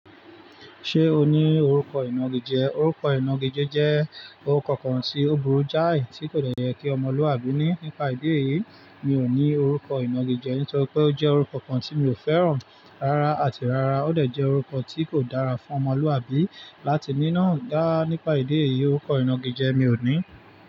Ṣé o ní orúkọ ìnagijẹ? Orúkọ ìnagijẹ jẹ́ orúkọ kan tí ó burú jáì, tí kò dọ̀yẹ́ kí ọmọlúàbí ní. Nípa ìdí èyí, mi ò ní orúkọ ìnagijẹ, nítorí pé ó jẹ́ orúkọ kan tí mi ò fẹ́ràn rárá, àti rárá ó dẹ̀ jẹ́ orúkọ tí kò dára fún ọmọlúàbí láti ní. Náà dá nípa ìdí èyí, orúkọ ìnagijẹ mi ò ní.